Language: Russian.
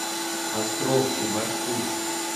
островский маршрут